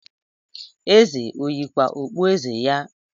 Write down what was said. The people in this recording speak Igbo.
Eze ọ yikwa okpueze ya?